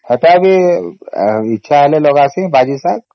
ସେଟା ବି ଇଚ୍ଛା ହେଲେ ଲଗାସୀ ବାରି ଶାଗ